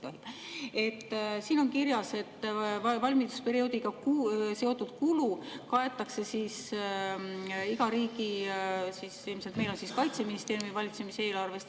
Siin on kirjas, et valmidusperioodiga seotud kulu kaetakse iga riigi, meil on see Kaitseministeeriumi valitsemisala eelarvest.